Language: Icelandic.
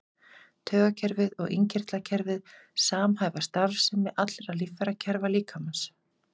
Taugakerfið og innkirtlakerfið samhæfa starfsemi allra líffærakerfa líkamans.